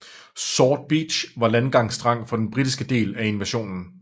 Sword Beach var landgangsstrand for den britiske del af invasionen